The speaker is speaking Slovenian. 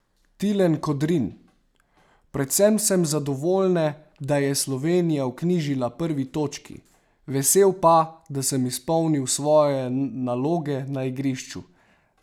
Tilen Kodrin: "Predvsem sem zadovoljne, da je Slovenija vknjižila prvi točki, vesel pa, da sem izpolnil svoje naloge na igrišču.